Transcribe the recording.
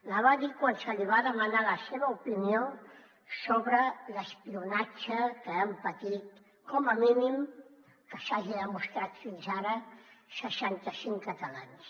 la va dir quan se li va demanar la seva opinió sobre l’espionatge que han patit com a mínim que s’hagi demostrat fins ara seixanta cinc catalans